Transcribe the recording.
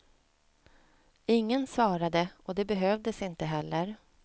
Ingen svarade och det behövdes inte heller.